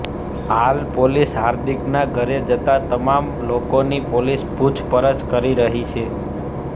હાલ પોલીસ હાર્દિકના ઘરે જતા તમામ લોકોની પોલીસ પૂછપરછ કરી રહી છે